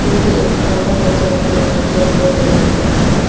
ये भी एक पार्लर है जहां पे लड़कियों बहुत ज्यादा मेकअप करती हैं।